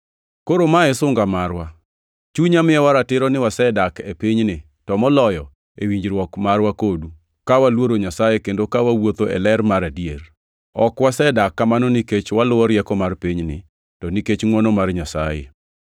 Koro ma e sunga marwa: Chunywa miyowa ratiro ni wasedak e pinyni, to moloyo e winjruok marwa kodu, ka waluoro Nyasaye kendo ka wawuotho e ler mar adier. Ok wasedak kamano nikech waluwo rieko mar pinyni, to nikech ngʼwono mar Nyasaye.